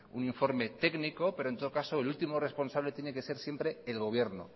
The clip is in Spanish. un informe técnico pero en todo caso el último responsable tiene que ser el gobierno